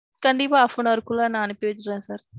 கண்டிப்பா half an hour குள்ள நான் அனுப்பி வச்சிருவேன் sir.